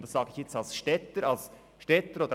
Das sage ich als Städter.